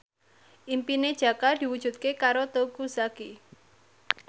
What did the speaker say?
impine Jaka diwujudke karo Teuku Zacky